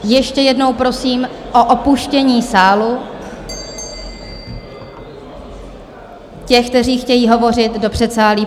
Ještě jednou prosím o opuštění sálu těch, kteří chtějí hovořit, do předsálí.